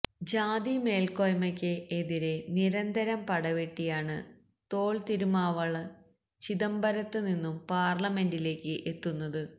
ജാതി മേല്ക്കോയ്മയ്ക്ക് എതിരെ നിരന്തരം പടവെട്ടിയാണ് തോള് തിരുമാവളവന് ചിദംബരത്ത് നിന്നും പാര്ലമെന്റിലേക്ക് എത്തുന്നത്